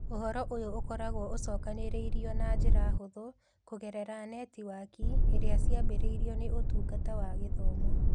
Ũhoro ũyũ ũkoragwo ũcokanĩrĩirio na njĩra hũthũ kũgerera netiwaki iria ciambĩrĩirio nĩ Ũtungata wa Gĩthomo.